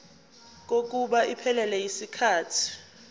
kokuba iphelele yisikhathi